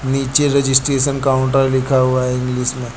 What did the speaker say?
नीचे registration counter लिखा हुआ है इंग्लिश में।